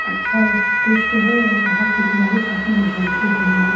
अच्छा उशदेश्य हैं और यहाँ की दीवारे काफी मजबूत लग रही हैं।